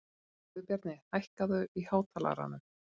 Guðbjarni, hækkaðu í hátalaranum.